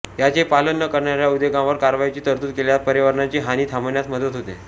याचे पालन न करणाऱ्या उद्योगांवर कारवाईची तरतूद केल्यास पर्यावरणाची हानी थांबण्यास मदत होते